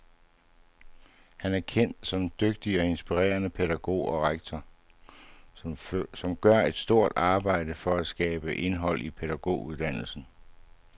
Han er kendt som en dygtig og inspirerende pædagog og rektor, som gør et stort arbejde for at skabe indhold i pædagoguddannelsen.